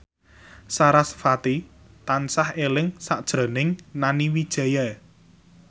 sarasvati tansah eling sakjroning Nani Wijaya